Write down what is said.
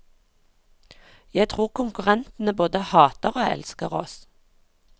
Jeg tror konkurrentene både hater og elsker oss.